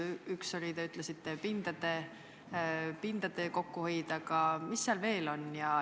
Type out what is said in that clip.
Üks on, nagu te ütlesite, pindade kokkuhoid, aga mis veel?